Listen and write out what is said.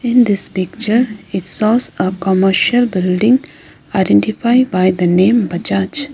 in this picture it shows a commercial building identified by the name bajaj.